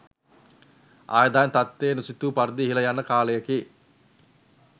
ආදායම් තත්ත්වය නොසිතූ පරිදි ඉහළ යන කාලයකි.